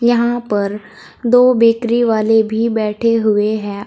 यहां पर दो बेकरी वाले भी बैठे हुए है।